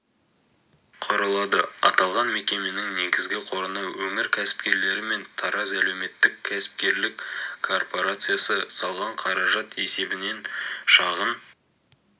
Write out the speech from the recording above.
құрылады аталған мекеменің негізгі қорына өңір кәсіпкерлері мен тараз әлеуметтік-кәсіпкерлік корпорациясы салған қаражат есебінен шағын